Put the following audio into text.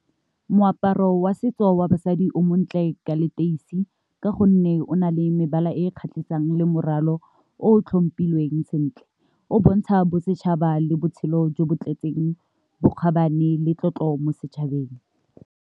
Moaparo wa setso wa basadi o montle ka leteisi ka gonne o na le mebala e kgatlhisang le morwalo o tlhompilweng sentle, o bontsha bosetšhaba le botshelo jo bo tletseng bokgabane le tlotlo mo setšhabeng.